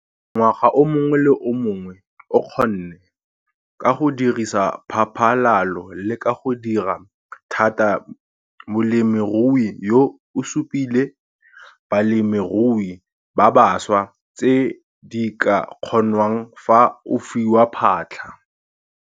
Ngwaga o mongwe le o mongwe o kgonne. Ka go dirisa phaphalalo le ka go dira thata molemirui yo o supile balemirui ba baswa tse di ka kgonwang fa o fiwa phatlha.